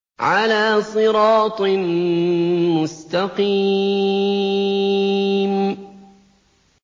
عَلَىٰ صِرَاطٍ مُّسْتَقِيمٍ